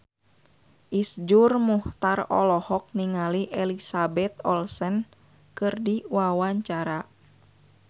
Iszur Muchtar olohok ningali Elizabeth Olsen keur diwawancara